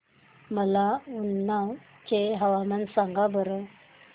मला उन्नाव चे हवामान सांगा बरं